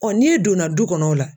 n'i donna du kɔnɔ o la.